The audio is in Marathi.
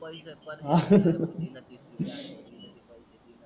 परत ती तीस ची णा